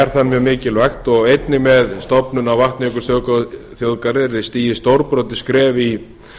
er það mjög mikilvægt og einnig með stofnun á vatnajökulsþjóðgarði yrði stigið stórbrotið skref í